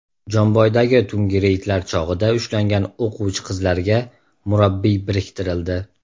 Jomboydagi tungi reydlar chog‘ida ushlangan o‘quvchi qizlarga murabbiy biriktirildi.